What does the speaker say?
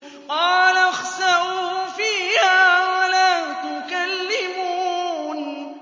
قَالَ اخْسَئُوا فِيهَا وَلَا تُكَلِّمُونِ